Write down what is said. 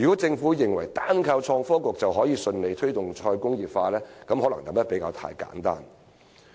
政府若認為單靠創新及科技局便可以順利推動"再工業化"，可能想得太簡單。